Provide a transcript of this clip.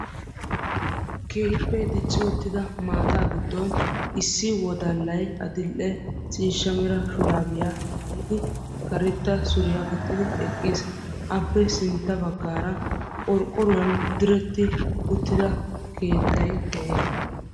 Keehippe dicci uttidda maatta giddon issi wodallay adl'ee ciishsha shurabbiya maayiddi karetta suriya gixxiddi eqqiis. A matan qorqqoruwan keexettidda keettay de'ees.